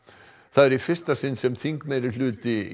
það er í fyrsta sinn sem þingmeirihluti